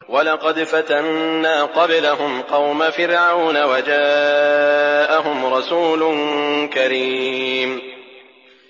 ۞ وَلَقَدْ فَتَنَّا قَبْلَهُمْ قَوْمَ فِرْعَوْنَ وَجَاءَهُمْ رَسُولٌ كَرِيمٌ